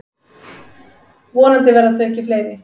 Vonandi verða þau ekki fleiri.